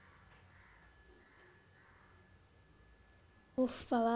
ওহ বাবা।